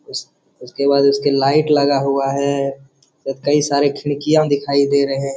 उसके बाद उसके लाइट लगा हुआ है कई सारी खिड़कियाॅं दिखाई दे रहे --